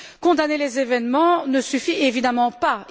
Condamner les événements ne suffit évidemment pas.